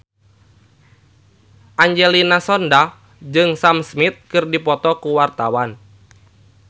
Angelina Sondakh jeung Sam Smith keur dipoto ku wartawan